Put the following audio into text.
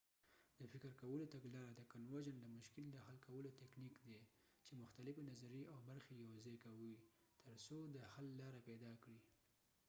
د convergent د فکر کولو تګلاره د مشکل د حل کولو تکنیک دی چی مختلفی نظریی او برخی یو ځای کوی تر څو د حل لاره پیدا کړی